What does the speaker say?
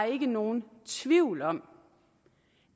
ikke er nogen tvivl om